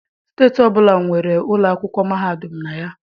Steeti ọbụla nwere ụlọ akwụkwọ mahadum na ya.